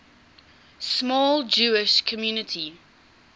small jewish community